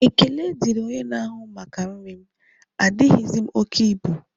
Ekele diri onye na-ahụ maka nri m, adighizi m oke ibu